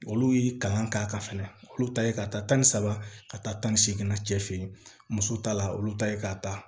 Olu y'i kalan k'a ka fɛnɛ olu ta ye k'a ta tan ni saba ka taa tan ni seeginna cɛ feye muso ta la olu ta ye k'a ta